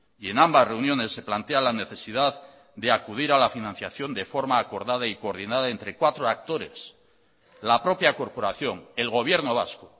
y en ambas reuniones se plantea la necesidad de acudir a la financiación de forma acordada y coordinada entre cuatro actores la propia corporación el gobierno vasco